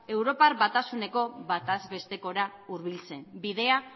europar batasuneko bataz bestekora hurbiltzen bidea